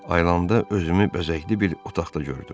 Ayılanda özümü bəzəkli bir otaqda gördüm.